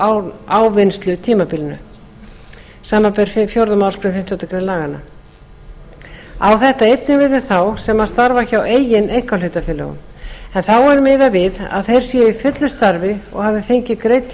á ávinnslutímabili samanber fjórðu málsgrein fimmtándu grein laganna á þetta einnig við um þá sem starfa hjá eigin einkahlutafélögum en þá er miðað við að þeir séu í fullu starfi og hafi fengið greidd